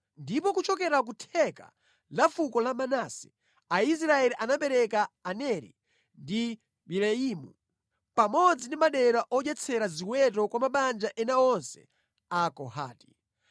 Ndipo kuchokera ku theka la fuko la Manase, Aisraeli anapereka Aneri ndi Bileamu pamodzi ndi madera odyetsera ziweto kwa mabanja ena onse a Kohati.